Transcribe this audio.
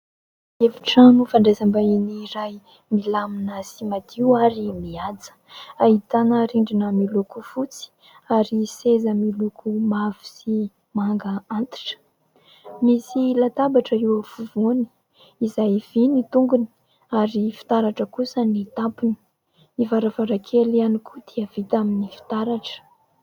Efitrano fandraisam-bahiny iray milamina sy madio ary mihaja. Ahitana rindrina miloko fotsy ary seza miloko mavo sy manga antitra. Misy latabatra eo afovoany izay vy ny tongony ary fitaratra kosa ny tampony. Ny varavarankely ihany koa dia vita amin'ny fitaratra.